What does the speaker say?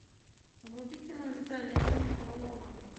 вруби кино виталия мельникова логан